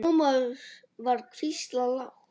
Thomas var hvíslað lágt.